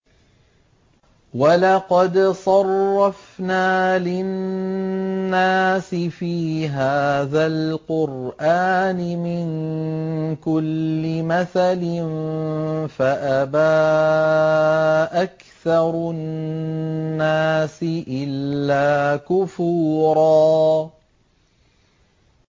وَلَقَدْ صَرَّفْنَا لِلنَّاسِ فِي هَٰذَا الْقُرْآنِ مِن كُلِّ مَثَلٍ فَأَبَىٰ أَكْثَرُ النَّاسِ إِلَّا كُفُورًا